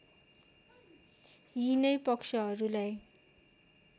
यिनै पक्षहरूलाई